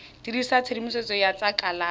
dirisa tshedimosetso ya tsa kalafi